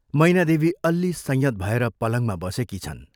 मैनादेवी अल्लि संयत भएर पलङमा बसेकी छन्।